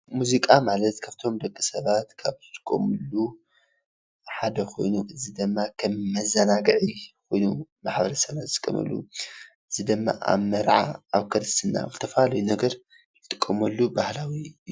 ሙዚቃ ማለት ካብቶም ደቂ ሰባት ካብ ዝጥቀምሉ ሓደ ኮይኑ እዚ ድማ ከም መዘናግዒ ኮይኑ ማሕበረሰብና ዝጥቀመሉ፤ እዚ ድማ ኣብ መርዓ፣ ኣብ ክርስትና ኣብ ዝተፈላለዩ ነገር ዝጥቀመሉ ባህላዊ እዩ፡፡